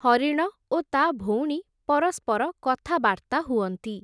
ହରିଣ ଓ ତା’ ଭଉଣୀ ପରସ୍ପର କଥାବାର୍ତ୍ତା ହୁଅନ୍ତି ।